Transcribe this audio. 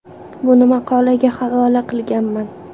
Buni maqolaga havola qilganman.